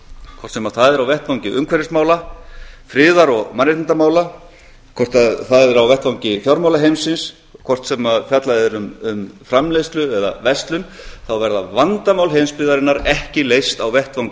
hvort sem það er á vettvangi umhverfismála friðar og mannréttindamála hvort það er á vettvangi fjármálaheimsins hvort sem fjallað er um framleiðslu eða verslun þá verða vandamál heimsbyggðarinnar ekki leyst á vettvangi